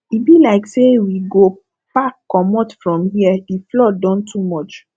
e be like sey we go pack comot from here di flood don too much